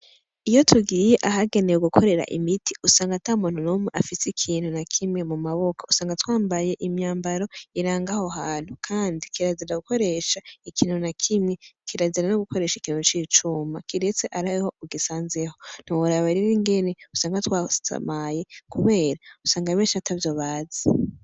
Iyo tugiye ahagenewe gukorera imiti usanga ata muntu nomwe afise ikintu na kimwe mu maboko usanga twambaye imyambaro irangaho hantu, kandi kirazira gukoresha ikintu na kimye kirazira no gukoresha ikintu c'icuma kiretse araheho ugisanzeho ntiworaba rira ingene usanga twasamaye kumera usanga menha tevyo bazi.